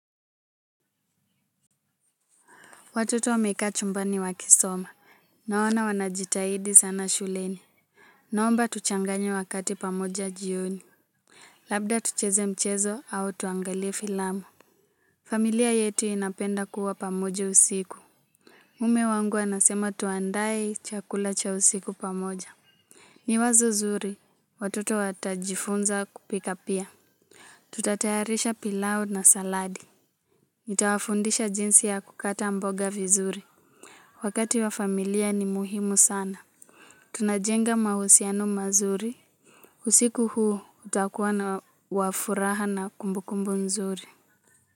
Watoto wamekaa chumbani wakisoma. Naona wanajitahidi sana shuleni. Naomba tuchanganye wakati pamoja jioni. Labda tucheze mchezo au tuangalie filamu. Familia yetu inapenda kuwa pamoja usiku. Mme wangu anasema tuandae chakula cha usiku pamoja. Ni wazo zuri. Watoto watajifunza kupika pia. Tutatayarisha pilau na saladi. Nitawafundisha jinsi ya kukata mboga vizuri. Wakati wa familia ni muhimu sana. Tunajenga mahusiano mazuri. Usiku huu utakuwa na wa furaha na kumbukumbu nzuri.